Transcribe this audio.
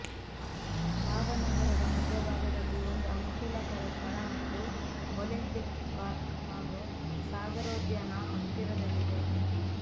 ಲಾಭ ನಗರದ ಮಧ್ಯಭಾಗದಲ್ಲಿ ಒಂದು ಅನುಕೂಲಕರ ಸ್ಥಳ ಮತ್ತು ಒಲಿಂಪಿಕ್ ಪಾರ್ಕ್ ಹಾಗೂ ಸಾಗರೋದ್ಯಾನ ಹತ್ತಿರದಲ್ಲೇ ಇದೆ